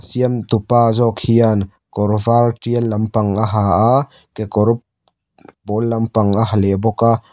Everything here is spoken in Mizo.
siam tupa zawk hian kawr var tial lampang a ha a kekawr pawl lampang a ha leh bawk a.